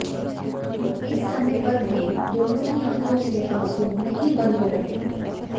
इस समय पर भी दोनों की आंखो से आंसू नहीं बंद हो रहे थे